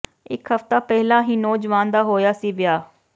ਇਕ ਹਫਤਾ ਪਹਿਲਾਂ ਹੀ ਨੌਜਵਾਨ ਦਾ ਹੋਇਆ ਸੀ ਵਿਆਹ